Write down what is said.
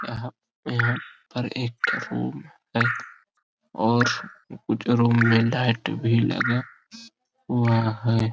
यहां यहां पर एक ठो रूम है और उस रूम में लाइट भी लगा हुआ है।